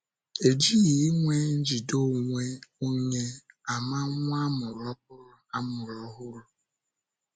E jighị ịnwe njide onwe onye ama nwa a mụrụ ọhụrụ a mụrụ ọhụrụ.